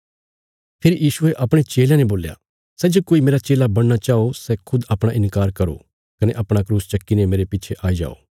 फेरी यीशुये अपणे चेलयां ने बोल्या सै जे कोई मेरा चेला बणना चाओ सै खुद अपणा इन्कार करो कने अपणा क्रूस चक्कीने मेरे पिछे आई जाओ